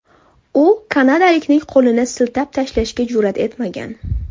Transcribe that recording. U kanadalikning qo‘lini siltab tashlashga jur’at etmagan.